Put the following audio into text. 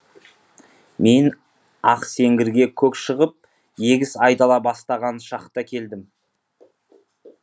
мен ақсеңгірге көк шығып егіс айдала бастаған шақта келдім